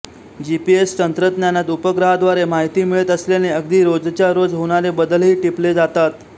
GPS तंत्रज्ञानात उपग्रहाद्वारे माहिती मिळत असल्याने अगदी रोजच्या रोज होणारे बदलही टिपले जातात